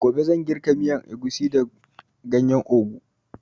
Gobe zan girka miyan agushi da ganyan ogu